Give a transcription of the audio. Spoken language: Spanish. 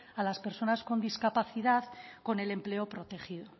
a las personas con discapacidad con el empleo protegido